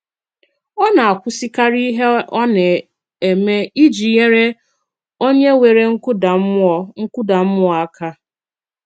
Ọ̀ na-àkwùsịkàrì ìhè ọ̀ na-eme ìjì nyere onye nwèrè nkùdà mmùọ nkùdà mmùọ aka.